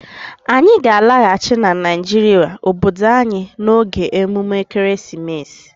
Anyị ga-alaghachi na Naijiria obodo anyị n'oge emume ekeresimesi.